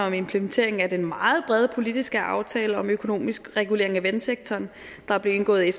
en implementering af den meget brede politiske aftale om økonomisk regulering af vandsektoren der blev indgået i